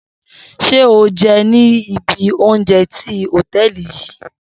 Shey o je ni ibi ounje ti hoteeli yii